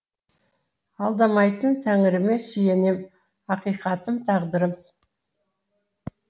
алдамайтын тәңіріме сүйенем ақиқатым тағдырым